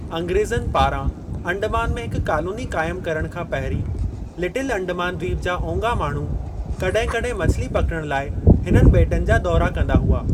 अंग्रेज़नि पारां अंडमान में हिकु कॉलोनी क़ाइमु करणु खां पहिरीं, लिटिल अंडमान द्वीप जा ओंगा माण्हू कड॒हिं कड॒हिं मछली पकड़णु लाइ हिननि बे॒टनि जा दौरा कंदा हुआ।